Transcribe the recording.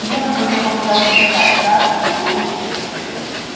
белый клык попытался встать раз другой